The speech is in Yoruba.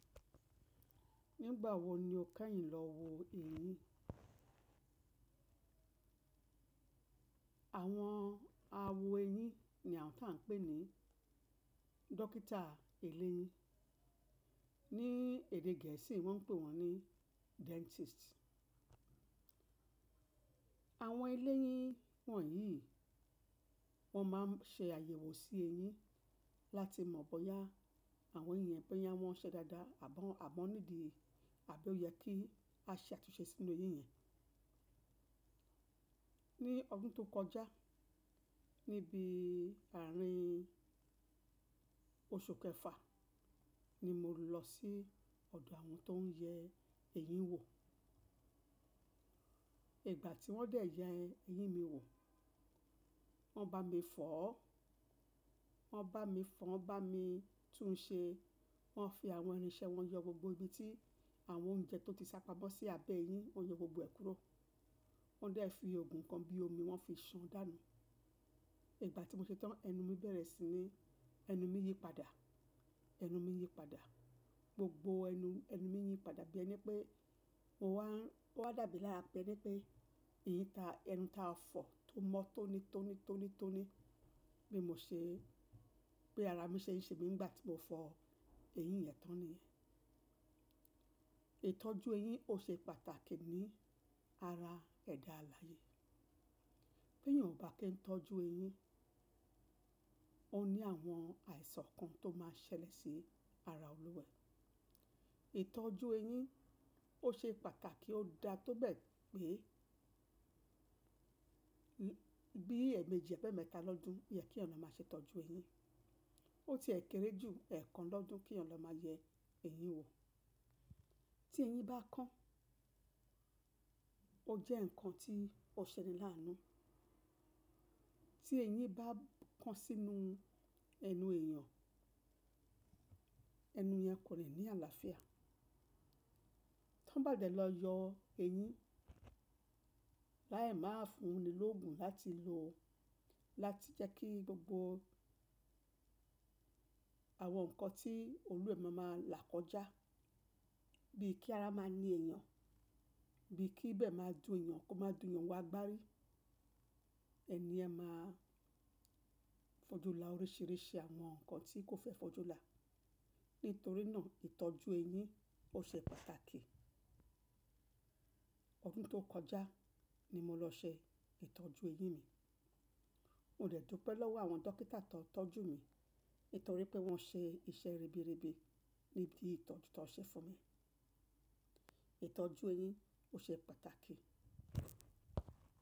Nígbà wo ni o kẹ́yìn lọ wo eyín? Àwọn awo eyín ni àwọn tó à ń pè ní dókítà eléyín. Ní èdè gẹ̀ẹ́sì wọ́n ń pè wọ́n ní dentist. Àwọn eléyín wọ̀nyí, wọ́n máa ń ṣe àyẹ̀wò sí eyín láti mọ̀ bóyá àwọn eyín yẹn pé yá wọ́n ṣẹ dada àbí ó yẹ kí a ṣe àtúnṣe sínú eyín yẹn. Ní ọdún tó kọjá, níbi ààrin oṣù kẹfà ni mo lọ sí ọ̀dọ̀ àwọn tó ń yẹ eyín wò. Ìgbà tí wọ́n dẹ̀ yẹ eyín mi wò, wọ́n bá mi fọ̀ ọ́, wọ́n bá mi fọn bá mi tún ṣe. Wọ́n fi àwọn irinṣẹ́ wọn yọ gbogbo ibi tí àwọn oúnjẹ tó ti sápa mọ́ sí abẹ́ eyín, wọ́n yọ gbogbo ẹ̀ kúrò. Wọ́n dẹ̀ fi òògùn kan bí omi wọ́n fi ṣan dànù. Ìgbà tí mo ṣetán ẹnu mi bẹ̀rẹ̀ sí ní, ẹnu mi yí padà, ẹnu mi yí padà. Gbogbo ẹnu, ẹnu mi yí padà bí ẹni pé mo wá, mo wá dàbí lára pé ní pé eyín ta ẹnu ta fọ̀ tó mọ́ tóní tóní tóní tóní bí mo ṣe, bí ara mi ṣe ń ṣe mi nígbà tí mo fọ eyín yẹn tán ni. Ìtọ́jú eyín ò ṣe pàtàkì ní ara ẹ̀dá alààyè. Bí ènìyàn kò bá kí ń tọ́jú eyín, ó ní àwọn àìsàn kan tó máa ṣẹlẹ̀ sí ara olúwẹ̀. Ìtọ́jú eyín ó ṣe pàtàkì ó dá tó bẹ́ẹ̀ pé bí ẹ̀mẹ́ji àbí emẹ́tà lọ́dún oyẹ kí ènìyàn kọ má ṣe ìtọ́jú eyín. Ó ti è kéré jù ẹ̀kan lọ́dún kí ènìyàn lọ máa yẹ eyín wò. Tí eyín bá kán, ó jẹ́ ǹkan tí ó ṣẹni láánú. Tí eyín bá kán sínú ẹnu èèyàn, ẹnu yẹn kò lè ní àlàáfíà. Tí wọ́n bá dẹ̀ lọ yọ eyín, láì má fúnni lóògùn láti lò láti jẹ́ kí gbogbo àwọn nǹkan tí olúẹ̀ máa máa là kọjá. Bí kí ara máa ní èèyàn, bí kí ibẹ̀ máa dùn èèyàn kó má dùn eyan koma dùn eyan wo agbárí. Eniye máa fojú là oríṣìíríṣìí àwọn nǹkan tí kò fẹ́ fojú là. Nítorí náà ìtọ́jú eyín ó ṣe pàtàkì. Ọdún tó kọjá ni mo lọ ṣe ìtọ́jú eyín mi. Mo dẹ̀ dúpẹ́ lọ́wọ́ àwọn dókítà tó tọ́jú mi nítorí pé wọ́n ṣe iṣẹ́ ribiribi níbi ìtọ́jú tó ṣe fún mi. Ìtọ́jú eyín ó ṣe pàtàkì.